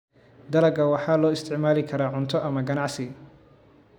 Dalagga waxaa loo isticmaali karaa cunto ama ganacsi.